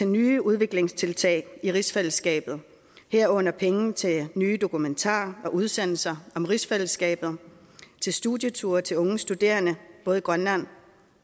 nye udviklingstiltag i rigsfællesskabet herunder penge til nye dokumentarer og udsendelser om rigsfællesskabet til studieture til unge studerende både i grønland